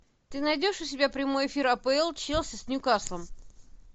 ты найдешь у себя прямой эфир апл челси с нью каслом